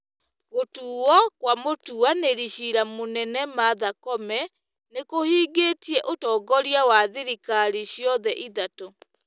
Gũtuwo kwa mũtuanĩri cira mũnene Martha Koome nĩ kũhingĩtie ũtongoria wa thirikari ciothe ithatũ.